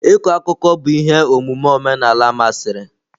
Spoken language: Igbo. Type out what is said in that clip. Ịkọ akụkọ bụ ihe omume omenala masịrị.